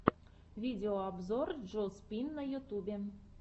видеообзор джо спин на ютьюбе